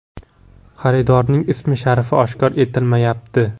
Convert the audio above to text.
Xaridorning ism-sharifi oshkor etilmayapti.